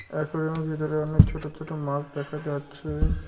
একুরিয়ামের ভিতরে অনেক ছোট ছোট মাছ দেখা যাচ্ছে ।